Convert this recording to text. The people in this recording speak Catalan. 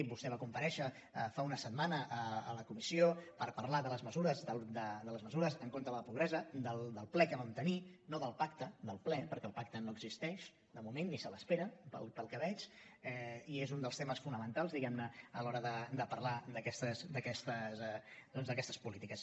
i vostè va comparèixer fa una setmana a la comissió per parlar de les mesures en contra de la pobresa del ple que vam tenir no del pacte del ple perquè el pacte no existeix de moment ni se l’espera pel que veig i és un dels temes fonamentals diguem ne a l’hora de parlar d’aquestes polítiques